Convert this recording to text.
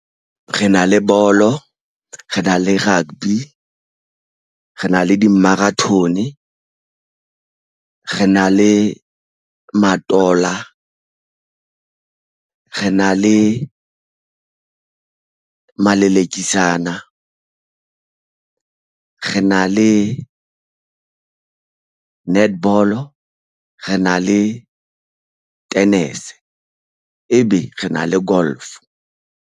Re na le bolo, re na le rugby, re na le di-marathon, re na le matola, re na le malakisana re na le netball, re na le tennis, ebe re na le golf.